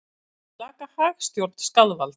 Segir slaka hagstjórn skaðvald